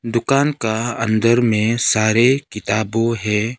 दुकान का अंदर में सारे किताबो है।